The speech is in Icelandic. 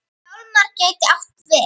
Hjálmar gæti átt við